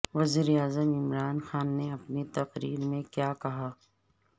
وزیراعظم عمران خان نے اپنی تقریر میں کیا کہا